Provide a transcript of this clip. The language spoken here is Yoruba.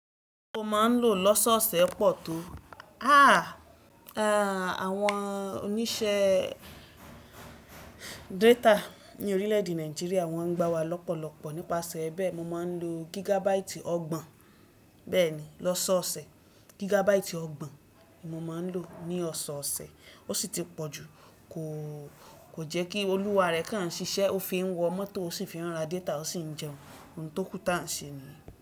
Mo maa n lo lọ́sọ̀ọ̀sẹ̀ pọ̀ to. Ah! Àwọn oníṣẹ́ data ní orílè-èdè Nàìjíríà wọ́n ń gbá wa lọ́pọ̀lọ́pọ̀ nípasẹ̀ bẹ́ẹ̀ mo máa ń lo gigabaiti ọgbọ̀n bẹ́ẹ̀ni lọ́sọọ̀sẹ̀, gigabaati ọgbọ̀n ni mo máa ń lò ní ọ̀ṣọ́ọ̀ṣẹ̀, ó sì ti pọ̀ jù. Ko Kò jẹ́ kí olúwa rẹ̀ kán ṣiṣẹ́, ó fi ń wọ mọ́tò ó sì fi ra data ó sì ń jẹun. Ohun tókù ta n ṣe niyi?